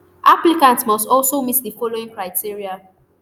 applicant must also meet di following criteria